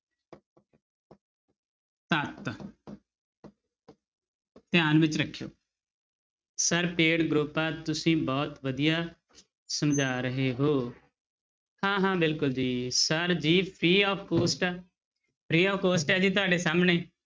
ਧਿਆਨ ਵਿੱਚ ਰੱਖਿਓ sir paid group ਆ ਤੁਸੀਂ ਬਹੁਤ ਵਧੀਆ ਸਮਝਾ ਰਹੇ ਹੋ, ਹਾਂ ਹਾਂ ਬਿਲਕੁਲ ਜੀ sir ਜੀ free of cost ਆ free of cost ਹੈ ਜੀ ਤੁਹਾਡੇ ਸਾਹਮਣੇ